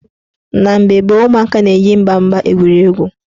Na mgbe gboo, ụmụaka na-eji ịgba mgba egwuri egwu.